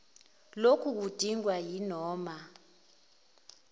loku kudingwa yinoma